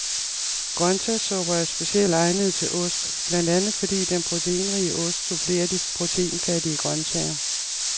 Grønsagssupper er specielt egnede til ost, blandt andet fordi den proteinrige ost supplerer de proteinfattige grønsager.